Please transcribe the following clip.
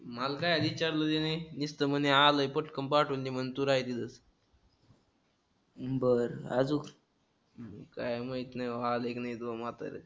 काय माहित नाही बाबा. आलय कि नाही तुझ म्हतर.